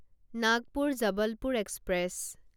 Nagpur Jabalpur express